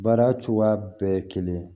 Baara cogoya bɛɛ ye kelen ye